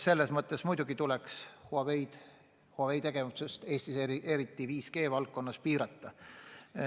Selles mõttes tuleks Huawei tegevust Eestis, eriti just 5G-valdkonnas piirata.